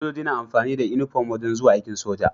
Sojoji na amfani da inufom wajan zuwa aikin soja